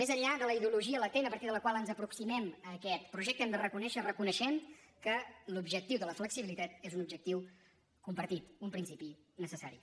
més enllà de la ideologia latent a partir de la qual ens aproximem a aquest projecte hem de reconèixer reconeixem que l’objectiu de la flexibilitat és un objectiu compartit un principi necessari